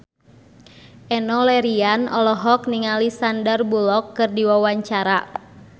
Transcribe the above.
Enno Lerian olohok ningali Sandar Bullock keur diwawancara